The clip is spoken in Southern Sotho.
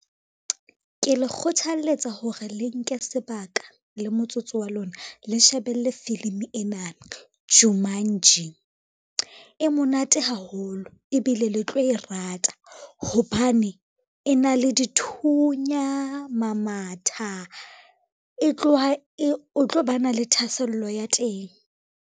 Ke le kgothaletsa hore le nke sebaka le motsotso wa lona, le shebelle filimi ena Jumanji, e monate haholo ebile le tlo e rata. Hobane e na le dithunya, ma matha o tlo ba na le thahasello ya teng.